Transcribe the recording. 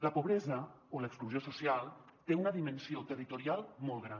la pobresa o l’exclusió social té una dimensió territorial molt gran